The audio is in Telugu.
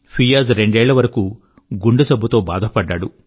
ఫియాజ్ రెండేళ్ళ వరకూ గుండె జబ్బు తో బాధపడ్డాడు